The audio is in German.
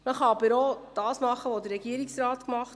Man kann aber auch das tun, was der Regierungsrat getan hat.